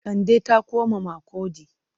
Kande ta koma Makurdi.